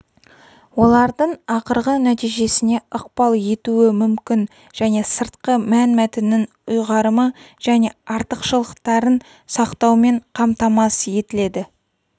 олардың ақырғы нәтижесіне ықпал етуі мүмкін және сыртқы мәнмәтіннің ұйғарымы және артықшылықтарын сақтаумен қамтамасыз етіледі